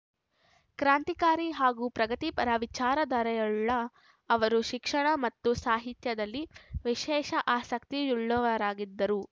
ಕ್ರಾಂತಿಕಾರಿ ಹಾಗೂ ಪ್ರಗತಿಪರ ವಿಚಾರಧಾರೆವುಳ್ಳ ಅವರು ಶಿಕ್ಷಣ ಮತ್ತು ಸಾಹಿತ್ಯದಲ್ಲಿ ವಿಶೇಷ ಆಸಕ್ತಿಯುಳ್ಳವರಾಗಿದ್ದರು